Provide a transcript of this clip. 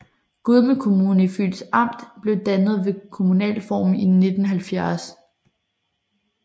Gudme Kommune i Fyns Amt blev dannet ved kommunalreformen i 1970